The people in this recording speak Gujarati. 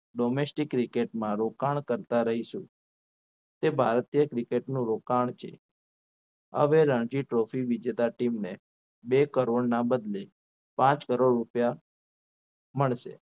Domestic Cricket માં રોકાણ કરતા રહીશું તે ભારતીય cricket નો રોકાણ છે હવે રણજીત trophy વિજેતા team ને એક કરોડના બદલે પાંચ કરોડ રૂપિયા મળશે